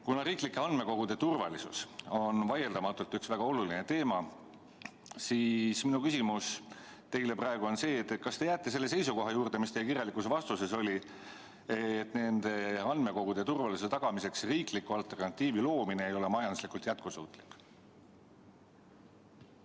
Kuna riiklike andmekogude turvalisus on vaieldamatult väga oluline teema, siis minu küsimus teile praegu on see, kas te jääte selle seisukoha juurde, mis teie kirjalikus vastuses oli, et nende andmekogude turvalisuse tagamiseks riikliku alternatiivi loomine ei ole majanduslikult jätkusuutlik.